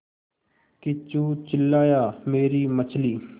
किच्चू चिल्लाया मेरी मछली